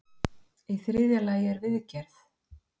í þriðja lagi er viðgerð